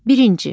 Birinci.